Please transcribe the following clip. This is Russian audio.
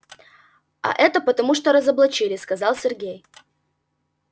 а это потому что его разоблачили сказал сергей